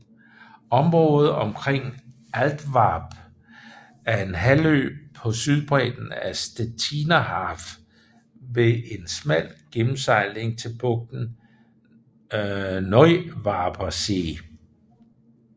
Området omkring Altwarp er en halvø på sydbredden af Stettiner Haff ved en smal gennemsejling til bugten Neuwarper See